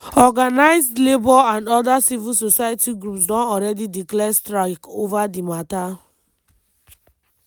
organized labour and oda civil society groups don already declare strike ova di mata.